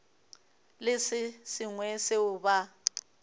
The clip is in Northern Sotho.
le se sengwe seo ba